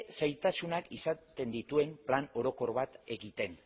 zailtasunak izaten dituen plan orokor bat egiten